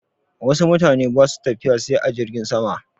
Wasu mutane ba su tafiya sai a jirgin sama.